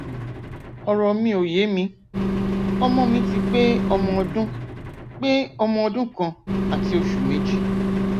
ọrọ mi ò yé mi ọmọ mi ti pé ọmọ ọdún pé ọmọ ọdún kan àti oṣù méjì